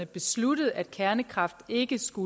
besluttet at kernekraft ikke skal